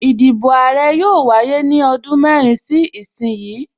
Ìdìbò Àrẹ yóò wáyé ní ọdún mẹ́rin sí ìsin yìí